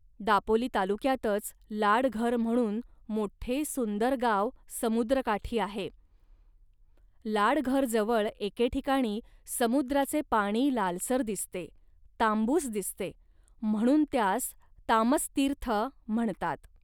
दापोली तालुक्यातच लाडघर म्हणून मोठे सुंदर गाव समुद्रकाठी आहे. लाडघरजवळ एके ठिकाणी समुद्राचे पाणी लालसर दिसते, तांबूस दिसते, म्हणून त्यास तामस्तीर्थ म्हणतात